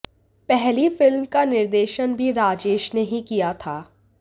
पहली फिल्म का निर्देशन भी राजेश ने ही किया था